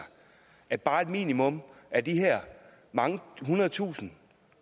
at bare et minimum af de her mange hundrede tusinde